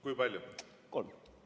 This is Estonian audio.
Kui palju?